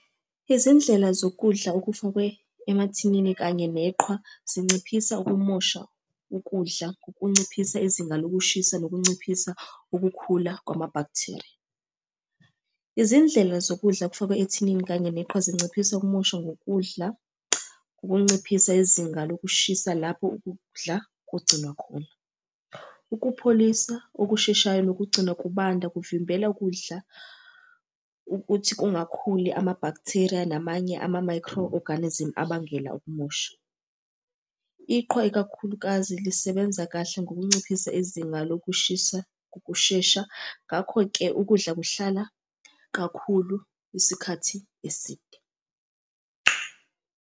Izindlela zokudla okufakwe emathinini kanye neqhwa zinciphisa ukumosha ukudla ngokunciphisa izinga lokushisa nokunciphisa ukukhula kwama-bacteria. Izindlela zokudla okufakwe ethinini kanye neqhwa zinciphisa ukumoshwa ngokudla, ukunciphisa izinga lokushisa lapho ukudla kugcinwa khona. Ukupholisa okusheshayo, nokugcina kubanda kuvimbela ukudla ukuthi kungakhuli ama-bacteria namanye ama-microorganism abangela ukumosha. Iqhwa ikakhulukazi lisebenza kahle ngokunciphisa izinga lokushisa ngokushesha. Ngakho-ke ukudla kuhlala kakhulu isikhathi eside.